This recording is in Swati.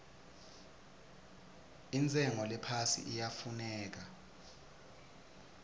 intshengo lephasi iyafuneka